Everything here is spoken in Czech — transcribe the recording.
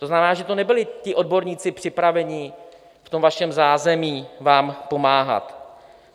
To znamená, že to nebyli ti odborníci připravení v tom vašem zázemí vám pomáhat.